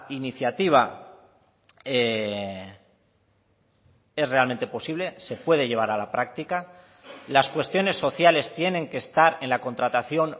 iniciativa es realmente posible se puede llevar a la práctica las cuestiones sociales tienen que estar en la contratación